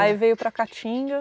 Aí veio para a Caatinga.